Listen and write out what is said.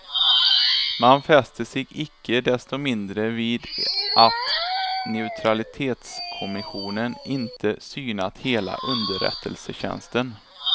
Man fäster sig icke desto mindre vid att neutralitetskommissionen inte synat hela underrättelsetjänsten.